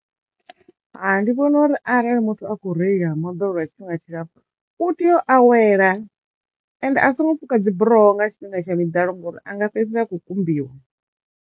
Hai ndi vhona uri arali muthu a kho reila moḓoro lwa tshifhinga tshilapfhu u tiyo awela ende a songo fuka dzi buroho nga tshifhinga tsha miḓalo ngori anga fhedzisela a kho kumbiwa.